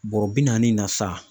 Bɔrɔ bi naani in na sa.